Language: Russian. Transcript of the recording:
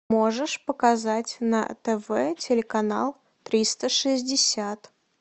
можешь показать на тв телеканал триста шестьдесят